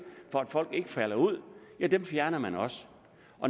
folk ikke falder ud fjerner man også